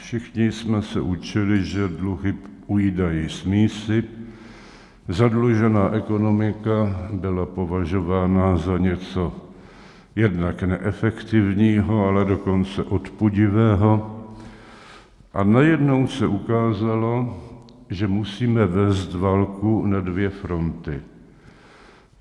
Všichni jsme se učili, že dluhy ujídají z mísy, zadlužená ekonomika byla považována za něco jednak neefektivního, ale dokonce odpudivého, a najednou se ukázalo, že musíme vést válku na dvě fronty.